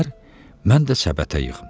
mən də səbətə yığım.